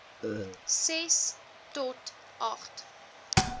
ses tot agt